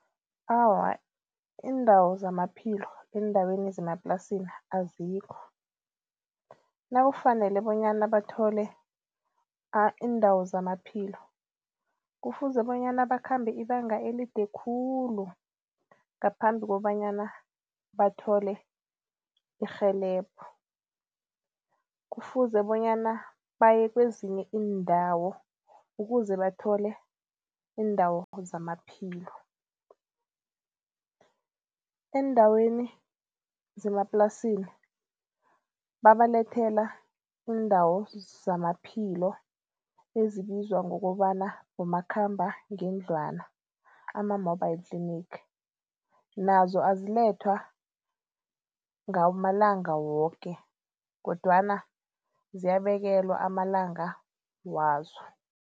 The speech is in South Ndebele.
Awa, iindawo zamaphilo eendaweni zemaplasini azikho. Nakufanele bonyana bathole iindawo zamaphilo kufuze bonyana bakhambe ibanga elide khulu ngaphambi kobanyana bathole irhelebho. Kufuze bonyana baye kwezinye iindawo ukuze bathole iindawo zamaphilo. Eendaweni zemaplasini babalethele iindawo zamaphilo ezibizwa ngokobana bomakhambangendlwana ama-mobile clinic nazo azilethwa ngamalanga woke kodwana ziyabekelwa amalanga wazo.